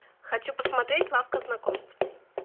хочу посмотреть лавка знакомств